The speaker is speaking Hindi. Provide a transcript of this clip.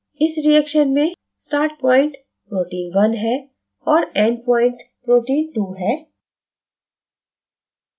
इस reaction में start point protein 1 है और end point protein 2 है